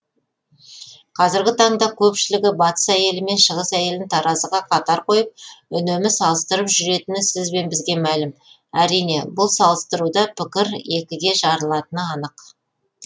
қазіргі таңда көпшілігі батыс әйелі мен шығыс әйелін таразыға қатар қойып үнемі салыстырып жүретіні сіз бен бізге мәлім әрине бұл салыстыруда пікірлер екіге жарылатыны анық